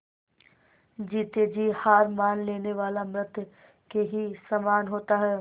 जीते जी हार मान लेने वाला मृत के ही समान होता है